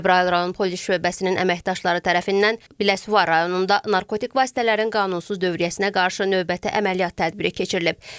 Cəbrayıl rayon polis şöbəsinin əməkdaşları tərəfindən Biləsuvar rayonunda narkotik vasitələrin qanunsuz dövriyyəsinə qarşı növbəti əməliyyat tədbiri keçirilib.